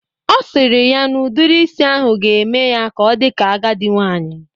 Ọ sịrị ya n'udiri isi ahụ ga eme ya ka ọ dị ka agadi nwaanyị